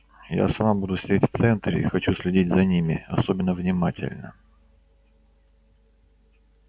я сама буду сидеть в центре и хочу следить за ними особенно внимательно